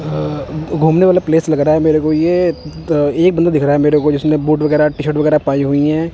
घूमने वाला प्लेस लग रहा है मेरे को ये एक बंदा दिख रहा है मेरे को जिसने बूट वगैरा टी_शर्ट वगैरा पाई हुई है।